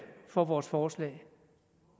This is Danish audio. for vores forslag